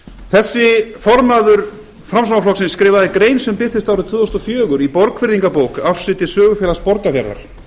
þessi formaður framsóknarflokksins skrifaði grein sem birtist árið tvö þúsund og fjögur í borgfirðingabók ársriti sögufélags borgarfjarðar